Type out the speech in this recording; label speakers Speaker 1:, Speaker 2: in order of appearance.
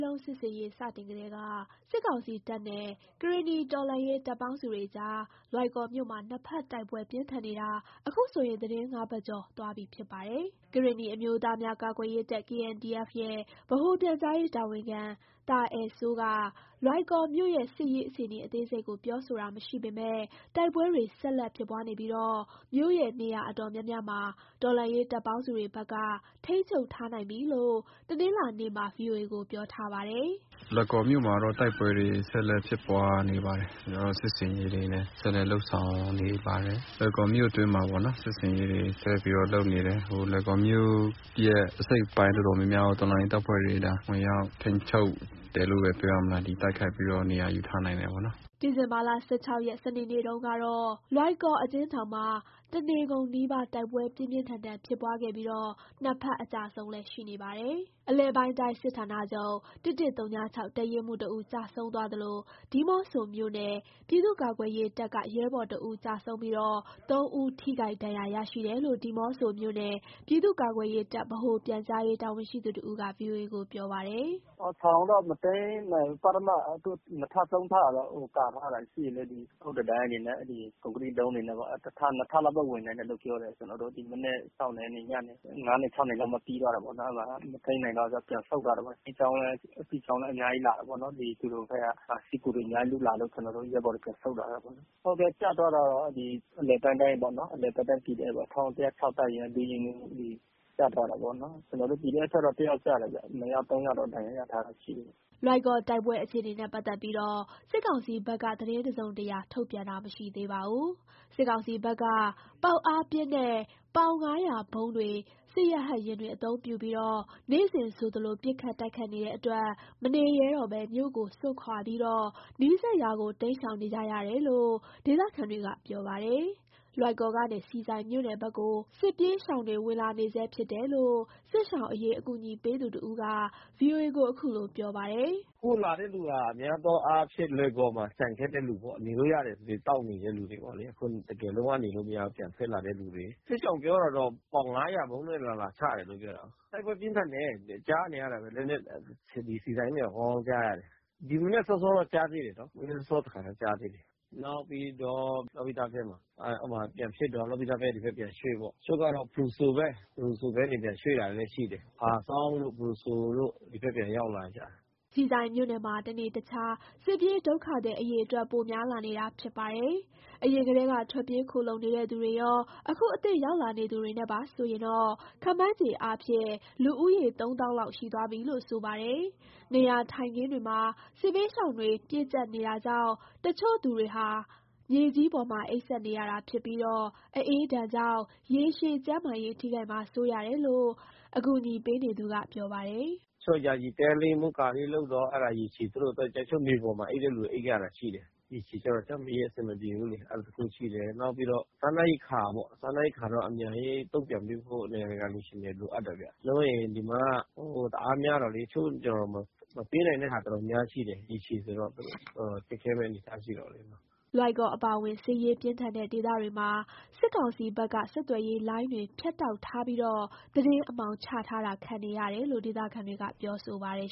Speaker 1: လုံး စစ်ဆင်ရေး စတင်ကတည်းက စစ်ကောင်စီတပ်နဲ့ ကရင်နီတော်လှန်ရေး တပ်ပေါင်းစုတွေ အကြား လွိုင်ကော်မြို့မှာ နှစ်ဖက်တိုက်ပွဲပြင်းထန်နေတာ အခုဆိုရင် သီတင်း ၅ ပတ် ကျော် သွားပြီဖြစ်ပါတယ်။ ကရင်နီအမျိုးသားများကာကွယ်ရေးတပ် (KNDF) ရဲ့ ဗဟိုပြန်ကြားရေးတာဝန်ခံ သာအယ်စိုးက လွိုင်ကော်မြို့ရဲ့ စစ်ရေးအခြေအနေ အသေးစိတ်ကို ပြောဆိုတာမရှိပေမယ့် တိုက်ပွဲတွေ ဆက်လက်ဖြစ်ပွားနေပြီး မြို့ရဲ့ နေရာ အတော်များများမှာ တော်လှန်ရေးတပ်ပေါင်းစု တွေဘက်က ထိန်းချုပ်ထားနိုင်ပြီးလို့ တနင်္လာနေ့မှာ ဗွီအိုအေကို ပြောထားပါတယ်။
Speaker 2: “လွိုင်ကော်မြို့မှာတော့ တိုက်ပွဲတွေ ဆက်လက်ဖြစ်ပွားနေပါတယ်။ ကျနော်တို့ စစ်ဆင်ရေးတွေလည်း ဆက်လက်လုပ်ဆောင်နေပါတယ်။ လွိုင်ကော်မြို့အတွင်းမှာပေါ့နော် စစ်ဆင်ရေးတွေ ဆက်ပြီးတော့ လုပ်နေတယ်။ လွိုင်ကော်မြို့ရဲ့ အစိတ်အပိုင်း တော်တော်များများကို တော်လှန်ရေးတပ်ဖွဲ့တွေ ဒါဝင်ရောက်ထိန်းချုပ်တယ်လို့ပဲ ပြောရမလား ဒီတိုက်ခိုက်ပြီးတော့ နေရာယူထားနိုင်တယ်ပေါ့နော်။
Speaker 1: ” ဒီဇင်ဘာ ၁၆ ရက် စနေနေ့တုန်းက လွိုင်ကော်အကျဉ်းထောင်မှာ တနေ့ကုန်နီးပါး တိုက်ပွဲ ပြင်းပြင်းထန်ထန် ဖြစ်ပွားခဲ့ပြီး နှစ်ဖက် အကျအဆုံးလည်း ရှိနေပါတယ်။ အလယ်ပိုင်းတိုင်း စစ်ဌာနချုပ် ၁၁၀၆ တပ်ရင်းမှူးတဦး ကျဆုံးသွားသလို ဒီးမော့ဆိုမြို့နယ် ပြည်သူ့ကာကွယ်ရေးတပ်က ရဲဘော်တဦး ကျဆုံး၊ ၃ဦး ထိခိုက်ဒဏ်ရာရရှိတယ်လို့ ဒီးမော့ဆိုမြို့နယ် ပြည်သူ့ကာကွယ်ရေးတပ် ဗဟိုပြန်ကြားရေး တာဝန်ရှိသူတဦးက ဗွီအိုအေကို ပြောပါတယ်။
Speaker 3: “ထောင်ကိုတော့ မသိမ်းနိုင်ဘူး။ ပထမ နှစ်ထပ် သုံးထပ် ကာထားတာရှိတယ်လေ၊ ဒီအုတ်တံတိုင်းတွေနဲ့ အဲ့ဒီကွန်ကရစ်တုံး တွေနဲ့ပေါ့။ (တော်လှန်ရေးတပ်ပေါင်းစုဘက်က) တစ်ထပ် နှစ်ထပ်လောက်ပဲ ဝင်နိုင်တယ်လို့ ပြောတယ်၊ ကျနော်တို့ မနက် ၆နာရီ ကနေ ညနေ ၅နာရီ ၆နာရီလောက်မှ ပြီးသွားတယ် ပေါ့နော်။ အဲ့မှာ မသိမ်းနိုင်တော့ ပြန်ဆုတ်သွားတာပေါ့၊ စစ်ကြောင်းလည်း အများကြီးလာပေါ့နော် သူတို့ဘက်က စစ်ကူတွေ အများကြီးလာလို့ ကျနော်တို့ ရဲဘော်တွေ ပြန်ဆုတ်လာတယ်ပေါ့နော်။ ဟုတ်ကဲ့ ကျသွားတာတော့ အဲ့ဒီ အလယ်ပိုင်းတိုင်းပေါ့နော်၊ အလယ်ပိုင်းတိုင်း PDF ပေါ့ ၁၁၀၆ တပ်ရင်းက ဒုရင်းမှူး ကျသွားတာပေါ့နော်၊ ကျနော်တို့ PDF ဖက်က တစ်ယောက်ကျတယ်ဗျ၊ နှစ်ယောက် သုံးယောက်တော့ ဒဏ်ရာရထားတာရှိတ
Speaker 1: ယ်။” လွိုင်ကော် တိုက်ပွဲ အခြေနေနဲ့ ပတ်သက်ပြီး စစ်ကောင်စီဘက်က သတင်းတစုံတရာ ထုတ်ပြန်တာ မရှိသေးပါဘူး။ စစ်ကောင်စီဘက်က ပေါက်အားပြင်းတဲ့ ပေါင် ၅၀၀ ဗုံးတွေ စစ်ရဟတ်ယာဉ်တွေ အသုံးပြုပြီး နေ့စဉ်ဆိုသလို ပစ်ခတ်တိုက်ခိုက်နေတဲ့ အတွက် မနေရဲတော့ပဲ မြို့ကိုစွန့်ခွာပြီး နီးစပ်ရာကို တိမ်းရှောင်နေကြရတယ်လို့ ဒေသခံတွေက ပြောပါတယ်။ လွိုင်ကော်ကနေ ဆီဆိုင်မြို့နယ်ဘက်ကို စစ်ပြေးရှောင်တွေ ဝင်လာနေဆဲ ဖြစ်တယ်လို့ စစ်ရှောင်အရေး အကူညီပေးသူတဦးက ဗွီအိုအေကို ခုလို ပြောပါတယ်။
Speaker 2: “အခုလာတဲ့ လူက များသောအားဖြင့် လွိုင်ကော်မှာ ကျန်ခဲ့တဲ့လူပေါ့၊ နေလို့ရတယ်ဆိုပြီး တောက်လျှောက် နေနေတဲ့ လူတွေပေါ့လေ။ အခုတကယ် လုံးဝ နေလို့မရတော့ ပြန်ထွက်လာတဲ့ လူတွေ။ စစ်ရှောင်ပြောတာတော့ ပေါင် ၅၀၀ ဗုံးနဲ့ လာလာချတယ်လို့ ပြောတယ်။ တိုက်ပွဲပြင်းထန်တယ်။ ကြားနေရတာပဲ ဆီဆိုင်ကနေ ကောင်းကောင်းကြားရတယ်။ ဒီမနက် စောစောလည်း ကြားသေးတယ်နော်။ မနက်စောစော တစ်ခါ ကြားသေးတယ်။ နောက်ပြီးတော့ လောပိတဖက်မှာ အဲ့မှာ ပြန်ဖြစ်တော့ လောပိတဘက်က ဒီဘက်ပြန်ရွှေ့ပေါ့။ တချို့ကတော့ ဖရူဆိုဖက်ကနေ ပြန်ရွှေ့လာလည်း ရှိတယ်။ ဖားဆောင်းတို့ ဖရူဆိုတို့ ဒီဖက် ပြန်ရောက်လာ ကြတယ်။
Speaker 1: ” ဆီဆိုမြို့နယ်မှာ တနေ့တခြား စစ်ပြေးဒုက္ခသည် အရေအတွက် ပိုများလာနေတာ ဖြစ်ပါတယ်။ အရင်ကတည်းက ထွက်ပြေး ခိုလှုံနေတဲ့ သူတွေရော အခုအသစ်ရောက်လာ နေသူတွေ နဲ့ပါဆိုရင် ခန့်မှန်းချေအားဖြင့် လူဦးရေ သုံးသောင်းလောက် ရှိသွားပြီလို့ ဆိုပါတယ်။ နေရာထိုင်ခင်းတွေမှာ စစ်ဘေးရှောင်တွေ ပြည့်ကြပ်နေတာကြောင့် တချို့သူတွေဟာ မြေကြီးပေါ်မှာ အိပ်စက်နေရတာဖြစ်ပြီး အအေးဒဏ်ကြောင့် ရေရှည် ကျန်းမာရေး ထိခိုက်မှာ စိုးရတယ်လို့ အကူညီပေးနေသူက ပြောပါတယ်။ “
Speaker 2: တချို့ ယာယီတဲလေး မိုးကာလေးလုပ်တော့ အဲ့ဒါ ရေရှည်သူတို့အတွက် တချို့မြေပေါ်မှာ အိပ်တဲ့လူ အိပ်ရတာ ရှိတယ်၊ ရေရှည်ကျတော့ ကျန်းမာရေး အဆင်မပြေဘူးလေ အဲ့ဒါတစ်ခုရှိတယ်။ နောက်ပြီးတော့ စားနပ်ရိက္ခာ ပေါ့၊ စားနပ်ရိက္ခာတော့ အမြန်ရေးတုန့်ပြန်ပေးဖို့ နိုင်ငံတကာ အလှူရှင်လိုအပ်တယ်ဗျ။ မဟုတ်ရင် ဒီမှာ လူတအား များတော့လေ တချို့ ကျနော်တို့ မပေးနိုင်တဲ့ဟာ တော်တော်များများရှိတယ်။ ရေရှည်ဆိုရင်တော့ ခက်ခဲမယ့် အနေအထား ရှိတယ်ပေါ့လေနော်
Speaker 1: ။” လွိုင်ကော်အပါအဝင် စစ်ရေးပြင်းထန်တဲ့ဒေသတွေမှာ စစ်ကောင်စီဘက်က ဆက်သွယ်ရေးလိုင်းတွေ ဖြတ်တောက်ထားပြီး သတင်းအမှောင် ချထားတာ ခံနေရတယ်လို့ ဒေသခံတွေ ပြောဆိုပါတယ်